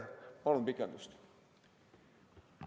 Palun pikendust!